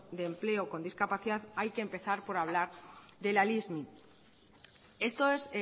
de empleo con discapacidad hay que empezar por hablar de la lismi esto es